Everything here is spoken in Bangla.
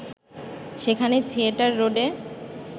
সেখানে থিয়েটার রোডে